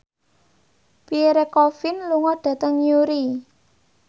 Pierre Coffin lunga dhateng Newry